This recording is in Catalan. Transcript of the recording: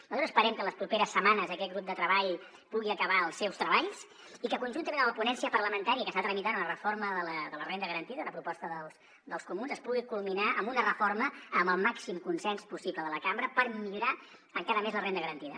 nosaltres esperem que en les properes setmanes aquest grup de treball pugui acabar els seus treballs i que conjuntament amb la ponència parlamentària que està tramitant la reforma de la renda garantida una proposta dels comuns es pugui culminar amb una reforma amb el màxim consens possible de la cambra per millorar encara més la renda garantida